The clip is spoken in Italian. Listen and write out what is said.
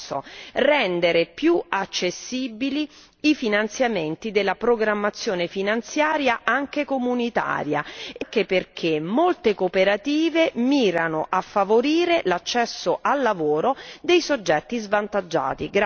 terzo rendere più accessibili i finanziamenti della programmazione finanziaria anche comunitaria, anche perché molte cooperative mirano a favorire l'accesso al lavoro dei soggetti svantaggiati.